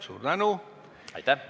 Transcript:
Suur tänu!